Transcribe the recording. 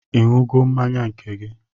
Ị ṅụgo mmanya nke gị?